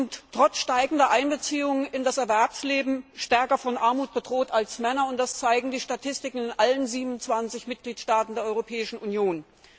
Frauen sind trotz steigender Einbeziehung in das Erwerbsleben stärker von Armut bedroht als Männer, das zeigen die Statistiken in allen 27 Mitgliedstaaten der Europäischen Union.